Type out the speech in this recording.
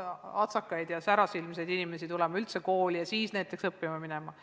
üldse särasilmseid noori inimesi tulema enne kooli ja alles siis õppima minema.